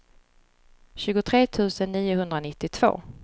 tjugotre tusen niohundranittiotvå